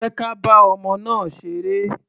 Jẹ́ ka bá ọmọ náà ṣeré.